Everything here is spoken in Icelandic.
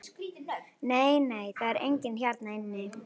Nei, nei, það er enginn hérna inni.